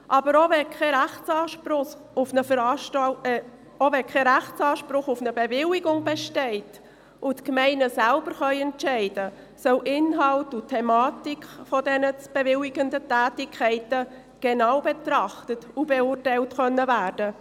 Aber auch wenn kein Rechtsanspruch auf eine Bewilligung besteht und die Gemeinden selber entscheiden können, sollen Inhalt und Thematik dieser bewilligten Tätigkeiten genau betrachtet und beurteilt werden können.